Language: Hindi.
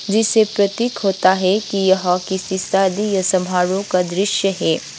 जिससे प्रतीक होता है कि यह किसी शादी या समारोह का दृश्य है।